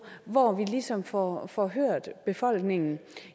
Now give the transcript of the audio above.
hvor vi ligesom får får hørt befolkningen